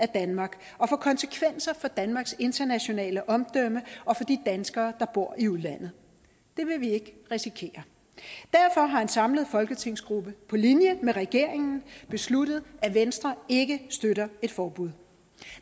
danmark og få konsekvenser for danmarks internationale omdømme og for de danskere der bor i udlandet det vil vi ikke risikere derfor har en samlet folketingsgruppe på linje med regeringen besluttet at venstre ikke støtter et forbud